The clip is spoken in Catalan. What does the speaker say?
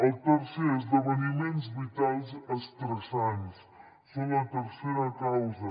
el tercer esdeveniments vitals estressants són la tercera causa